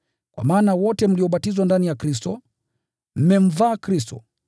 Kwa maana wote mliobatizwa ndani ya Kristo, mmemvaa Kristo.